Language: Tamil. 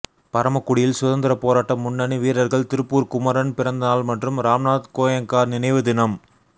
பரமக்குடியில் சுதந்திர போராட்ட முன்னணி வீரா்கள் திருப்பூா் குமரன் பிறந்தநாள் மற்றும் ராம்நாத் கோயங்கா நினைவு தினம்